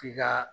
F'i ka